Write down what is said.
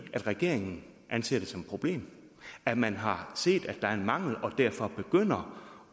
regeringen anser det som et problem at man har set at der er en mangel og derfor begynder